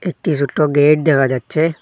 একটি ছুট্টো গেট দেখা যাচ্ছে।